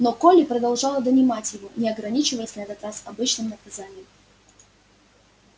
но колли продолжала донимать его не ограничиваясь на этот раз обычным наказанием